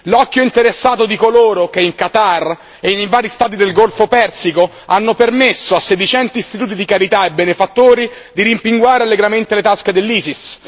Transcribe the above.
L'occhio interessato di coloro che in Qatar e in vari Stati del Golfo persico hanno permesso a sedicenti istituti di carità e benefattori di rimpinguare allegramente le tasche dell'ISIS.